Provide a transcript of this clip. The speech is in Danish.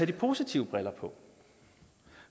de positive briller på